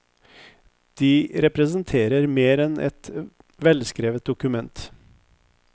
De representerer mer enn et velskrevet dokument.